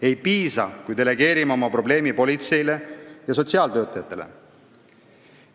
Ei piisa, kui delegeerime oma probleemi politseile ja sotsiaaltöötajatele.